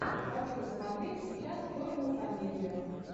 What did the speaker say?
хочу смотреть сейчас черную комедию